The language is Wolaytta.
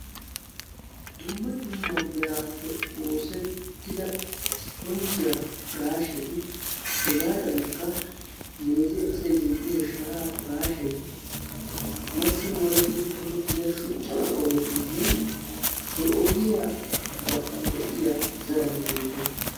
Dumma dumma meerappe oossetida ispponjjiya pirashshetti hegadankka meeze asaay zin'iyo sharaa pirashshetti masi molettidi tokketida shuuchcha ogetine he ogiya gaxxan de'iya zaaratti beettosona.